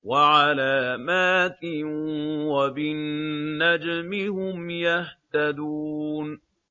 وَعَلَامَاتٍ ۚ وَبِالنَّجْمِ هُمْ يَهْتَدُونَ